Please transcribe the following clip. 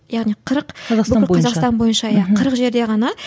яғни қырық қазақстан бойынша иә қырық жерде ғана